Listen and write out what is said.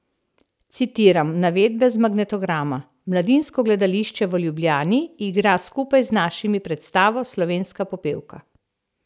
Citiram navedbe z magnetograma: "Mladinsko gledališče v Ljubljani igra skupaj z našimi predstavo Slovenska popevka.